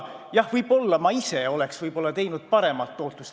Jah, võib-olla ma ise oleks saavutanud parema tootluse.